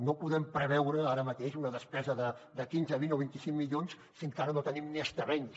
no podem preveure ara mateix una despesa de quinze vint o vint cinc milions si encara no tenim ni els terrenys